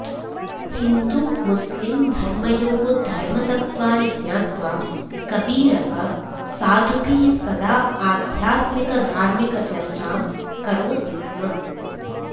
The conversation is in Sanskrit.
हिन्दुमुस्लिंधर्मयोः धर्मतत्वानि ज्ञात्वा कबीरः साधुभिः सदा आध्यात्मिकधार्मिकचर्चां करोति स्म